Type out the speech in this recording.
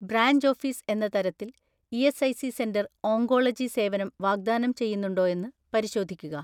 Branch office എന്ന തരത്തിൽ ESIC centre oncology സേവനം വാഗ്ദാനം ചെയ്യുന്നുണ്ടോയെന്ന് പരിശോധിക്കുക.